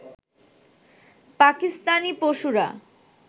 পাকিস্তানি পশুরা